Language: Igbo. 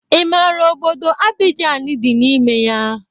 Ọ mara obodo Abijani dị n'ime ya?